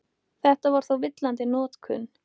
Þetta er þó villandi notkun.